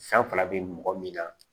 San fana bɛ mɔgɔ min na